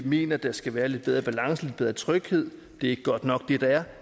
mener der skal være lidt bedre balance lidt bedre tryghed det er ikke godt nok det der er